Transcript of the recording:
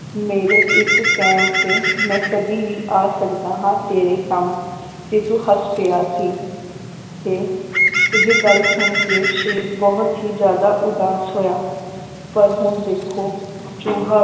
ਮੇਰੇ ਇੱਕ ਕਹਿਣ ਤੇ ਮੈ ਕਦੀ ਵੀ ਆ ਸਕਦਾ ਹਾਂ ਤੇਰੇ ਕੰਮ ਤੇ ਤੂੰ ਹੱਸ ਪਿਆ ਸੀ ਤੇ ਇਹ ਗੱਲ ਸੁਣ ਕੇ ਸ਼ੇਰ ਬਹੁਤ ਹੀ ਜ਼ਿਆਦਾ ਉਦਾਸ ਹੋਇਆ ਪਰ ਹੁਣ ਦੇਖੋ ਚੂਹਾ,